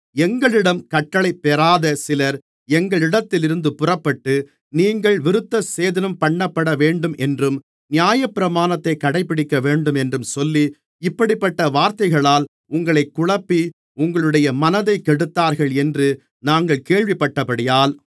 எங்களிடம் கட்டளைபெறாத சிலர் எங்களிடத்திலிருந்து புறப்பட்டு நீங்கள் விருத்தசேதனம்பண்ணப்படவேண்டுமென்றும் நியாயப்பிரமாணத்தைக் கடைபிடிக்கவேண்டுமென்றும் சொல்லி இப்படிப்பட்ட வார்த்தைகளால் உங்களைக் குழப்பி உங்களுடைய மனதைக் கெடுத்தார்கள் என்று நாங்கள் கேள்விப்பட்டபடியால்